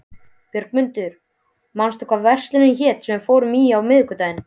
Björgmundur, manstu hvað verslunin hét sem við fórum í á miðvikudaginn?